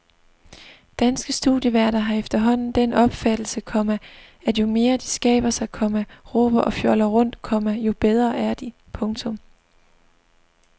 Danske studieværter har efterhånden den opfattelse, komma at jo mere de skaber sig, komma råber og fjoller rundt, komma jo bedre er de. punktum